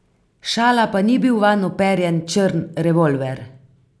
Šala pa ni bil vanj uperjen črn revolver.